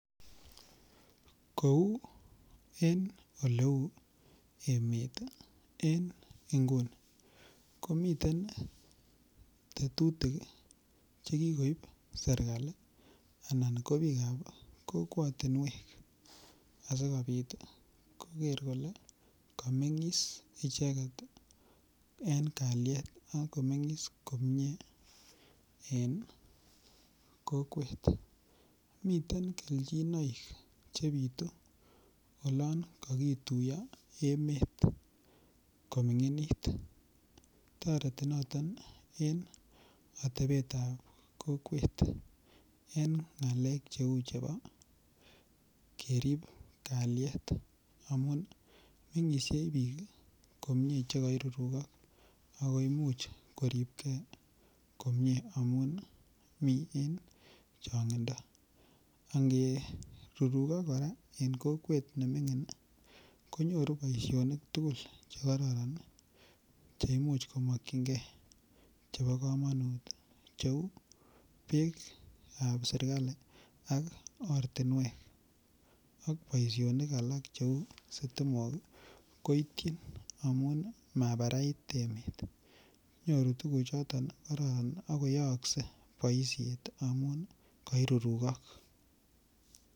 Kou oleu emet en nguni komiten tetutik Che kikoib serkali anan ko bikap kokwatinwek asikobit koger kole komengis icheget en kalyet komie en kokwet miten kelchinoik Che bitu olon kokituyo emet kominginit toreti noton en atebetap kokwet en ngalek cheu chebo kerib kalyet amun mengisie komie bik Che koirurukok ako Imuch koribge komie amun mi en changindo angerurukok kora en kokwet nemingin konyoru boisionik tugul Che kororon Che Imuch komakyinge Chebo kamanut cheu bekap serkali ak ortinwek ak boisionik alak Cheu sitimok koityin amun mabarait emet nyoru tuguchoto kororon ak koyookse boisiet amun koirurukok